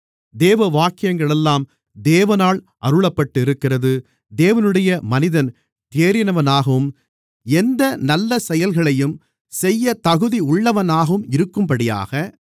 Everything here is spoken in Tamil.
வேத வாக்கியங்களெல்லாம் தேவனால் அருளப்பட்டிருக்கிறது தேவனுடைய மனிதன் தேறினவனாகவும் எந்த நல்லசெயல்களையும் செய்யத் தகுதியுள்ளவனாகவும் இருக்கும்படியாக